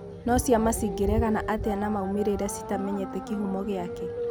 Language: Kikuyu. No ciama ĩngeregana atĩa na maumĩrĩra citamenyete kĩhumo gĩake